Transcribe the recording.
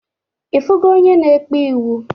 Ifugo onye na-ekpe iwu?